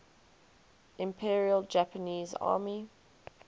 imperial japanese army